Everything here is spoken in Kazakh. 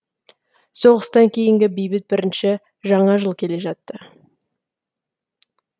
соғыстан кейінгі бейбіт бірінші жаңа жыл келе жатты